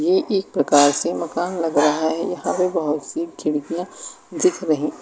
ये एक प्रकार से मकान लग रहा है यहां पे बहुत सी खिड़कियां दिख रही--